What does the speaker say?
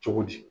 Cogo di